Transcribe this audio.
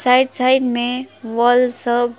right side में wall सब--